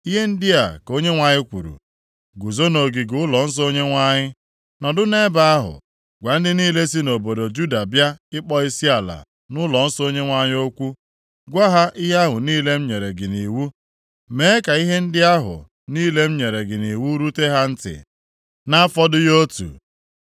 Ihe ndị a ka Onyenwe anyị kwuru, “Guzo nʼogige ụlọnsọ Onyenwe anyị. Nọdụ nʼebe ahụ gwa ndị niile si nʼobodo Juda bịa ịkpọ isiala nʼụlọnsọ Onyenwe anyị okwu. Gwa ha ihe ahụ niile m nyere gị nʼiwu. Mee ka ihe ndị ahụ niile m nyere gị nʼiwu rute ha ntị, na-afọdụghị otu.